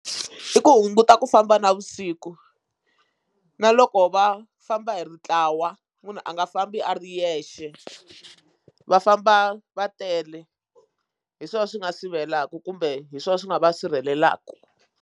I ku hunguta ku famba navusiku na loko va famba hi ri ntlawa munhu a nga fambi a ri yexe va famba va tele hi swona swi nga sivelaka kumbe hi swona swi nga va sirhelelaka.